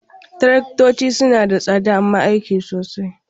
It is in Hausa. Taraktoci suna da tsada amma aiki sosai.